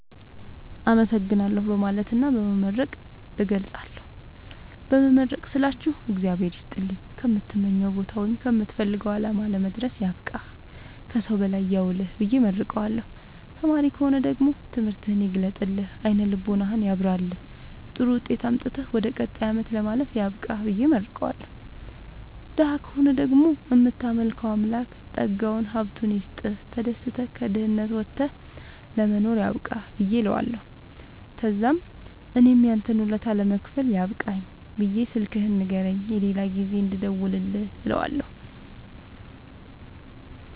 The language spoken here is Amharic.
አመሠግናለሁ በማለትና በመመረቅ እገልፃለሁ። በመመረቅ ስላችሁ እግዚአብሄር ይስጥልኝ ከምትመኘዉ ቦታወይም ከምትፈልገዉ አላማ ለመድረስያብቃህ ከሠዉ በላይ ያዉልህብየ እመርቀዋለሁ። ተማሪ ከሆነ ደግሞ ትምህርትህን ይግለጥልህ አይነ ልቦናህን ያብራልህ ጥሩዉጤት አምጥተህ ወደ ቀጣይ አመት ለማለፍ ያብቃህ ብየ እመርቀዋለሁ። ደሀ ከሆነ ደግሞ እምታመልከዉ አምላክ ጠጋዉን ሀብቱይስጥህ ተደስተህ ከድህነት ወተህ ለመኖር ያብቃህእለዋለሁ። ተዛምእኔም ያንተን ወለታ ለመክፈል ያብቃኝ ብየ ስልክህን ንገረኝ የሌላ ጊዜ እንድደዉልልህ እለዋለሁ